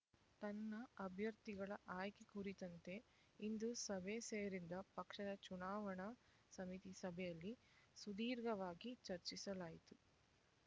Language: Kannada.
ತನ್ನ ಅಭ್ಯರ್ಥಿಗಳ ಆಯ್ಕೆ ಕುರಿತಂತೆ ಇಂದು ಸಭೆ ಸೇರಿದ್ದ ಪಕ್ಷದ ಚುನಾವಣಾ ಸಮಿತಿ ಸಭೆಯಲ್ಲಿ ಸುದೀರ್ಘವಾಗಿ ಚರ್ಚಿಸಲಾಯಿತು